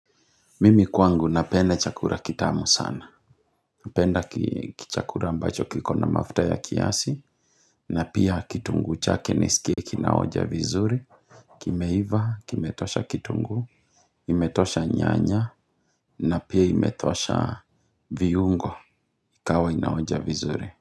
Mimi kwangu napenda chakula kitamu sana napenda ki chakula ambacho kiko na mafuta ya kiasi na pia kitunguu chake niskie kinaonja vizuri kimeiva, kimetosha kitunguu imetosha nyanya na pia imetosha viungo ikawa inaonja vizuri.